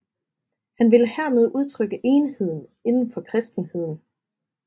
Han ville hermed udtrykke enheden inden for kristenheden